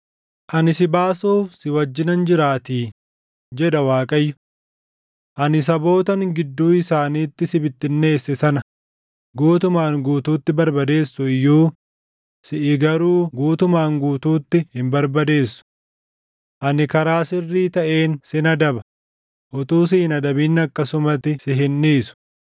Ani si baasuuf si wajjinan jiraatii’ jedha Waaqayyo; ‘Ani sabootan gidduu isaaniitti si bittinneesse sana guutumaan guutuutti barbadeessu iyyuu siʼi garuu guutumaan guutuutti hin barbadeessu. Ani karaa sirrii taʼeen sin adaba; utuu si hin adabin akkasumatti si hin dhiisu.’